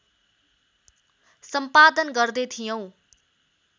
सम्पादन गर्दै थियौँ